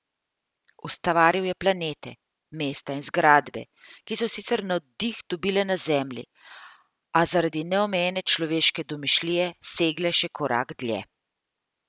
Ustvaril je planete, mesta in zgradbe, ki so sicer navdih dobile na Zemlji, a zaradi neomejene človeške domišljije segle še korak dlje.